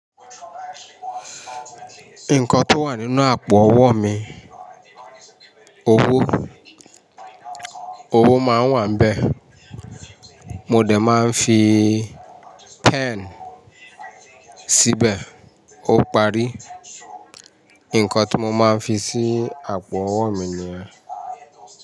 Nǹkan tó wà nínú àpò-ọwọ́ mi, owó, owó máa ń wà n bẹ́ẹ̀, mo de máa ń fi pen síbẹ̀ ó parí. Nǹkan tí mo máa ń fi sí àpò-ọwọ́ mi ni yẹ́n.